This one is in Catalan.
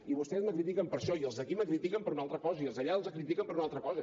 i vostès me critiquen per això i els d’aquí me critiquen per una altra cosa i els d’allà els critiquen per una altra cosa